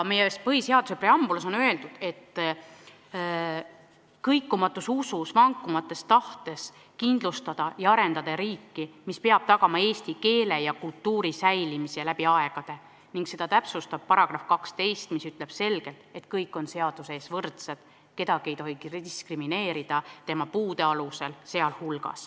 Meie põhiseaduse preambulis on öeldud: "Kõikumatus usus ja vankumatus tahtes kindlustada ja arendada riiki, mis peab tagama eesti rahvuse ja kultuuri säilimise läbi aegade ..." ning seda täpsustab § 12, mis ütleb selgelt, et kõik on seaduse ees võrdsed, kedagi ei tohi diskrimineerida ka tema puude tõttu.